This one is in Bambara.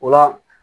O la